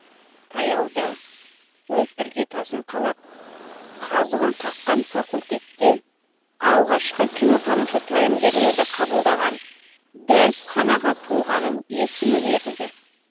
таяуда өзі іргетасын қалап қазығын қаққан факультетте алғашқы кинотанушы тәлімгерлерді қабылдаған дәрісханаға тұлғаның есімі берілді